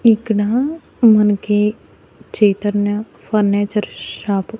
ఇక్కడ మనకి Chaitanya furniture shop .